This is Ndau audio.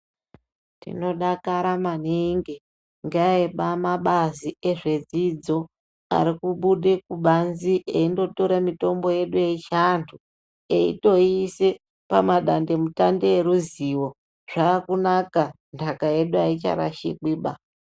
Tino dakara maningi nge emabazi ezve dzidzo ariku bude kubanze eyindo tore mitombo yedu yechi antu eyito yiise pama dande mutande eruzivo zvaku naka ndaka yedu ayicha rashikwi baa.